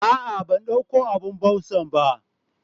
ah ah bandauko abun busanba